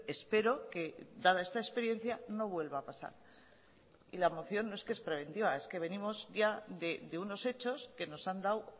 espero que dada esta experiencia no vuelva a pasar y la moción no es que es preventiva es que venimos ya de unos hechos que nos han dado